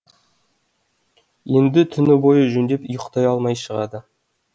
енді түні бойы жөндеп ұйықтай алмай шығады